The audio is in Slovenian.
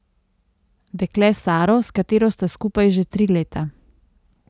Dekle Saro, s katero sta skupaj že tri leta.